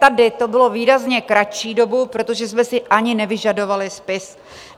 Tady to bylo výrazně kratší dobu, protože jsme si ani nevyžadovali spis.